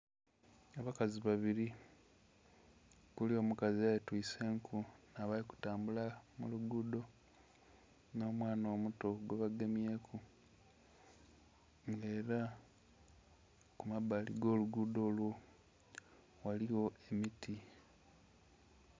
Abakazi babili okuli omukazi eyetwise enku bali kutambula mu luguudo n'omwana omuto gwebagemyeku, nga ela ku mabbali ag'oluguudo olwo ghaligho emiti.